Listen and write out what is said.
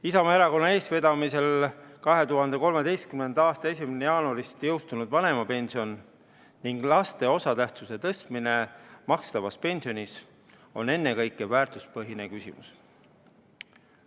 Isamaa Erakonna eestvedamisel 2013. aasta 1. jaanuarist jõustunud vanemapension ning laste osatähtsuse tõstmine makstavas pensionis on ennekõike väärtuspõhine küsimus.